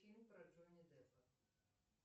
фильм про джонни деппа